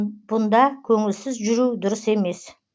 бұнда көңілсіз жүру дұрыс емес